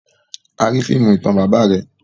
A ri fiimu itan baba rẹ.